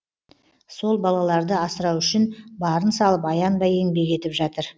сол балаларды асырау үшін барын салып аянбай еңбек етіп жатыр